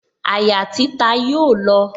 Àyà títa yóò lọ